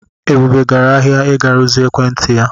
Ebube gara ahịa ịga rụzie ekwentị ya.